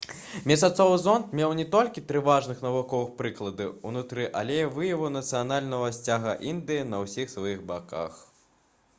месяцовы зонд меў не толькі тры важных навуковых прылады ўнутры але і выяву нацыянальнага сцяга індыі на ўсіх сваіх баках